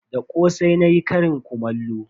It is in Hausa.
Da kosai nayi karin kumallo.